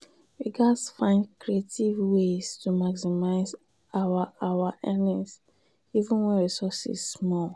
we gats find creative ways to maximize our our earnings even wen resources small.